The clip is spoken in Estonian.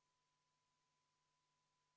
Ettepanek ei leidnud toetust.